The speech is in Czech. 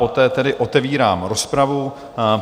Poté tedy otevírám rozpravu.